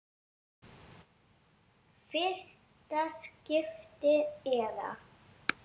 Fyrsta skiptið eða?